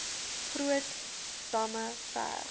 groot damme ver